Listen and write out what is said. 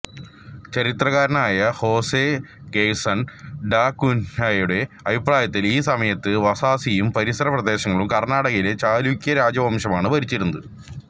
ചരിത്രകാരനായ Jose Gerson da കുൻഹയുടെ അഭിപ്രായത്തിൽ ഈ സമയത്ത് വസായിയും പരിസര പ്രദേശങ്ങളും കർണാടകയിലെ ചാലൂക്യ രാജവംശമാണ് ഭരിച്ചിരുന്നത്